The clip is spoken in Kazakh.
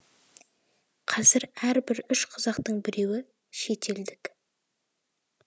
қазір әрбір үш қазақтың біреуі шет елдік